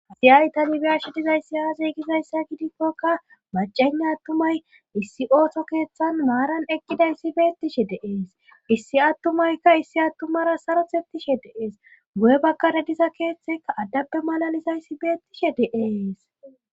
Hasi aytani biyashi dizayssi aaze gizayssa gidikkoka bacena attumay issi ooso keeththan maaran eqqidayssi beettishe deees issi attumaykka issi attumara sarothettishe deees gu'e bakkara diza keeththekka addappe malalizayssi beettishe deees.